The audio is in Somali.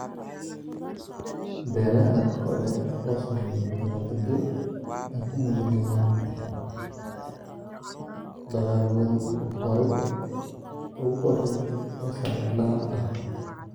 Beelaha Ankoole oo sameeyay dabaaldegyo ay ku muujinayaan dalaggoodii ugu horreeyay ee sannadlaha ah.